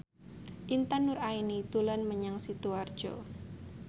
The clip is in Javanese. Intan Nuraini dolan menyang Sidoarjo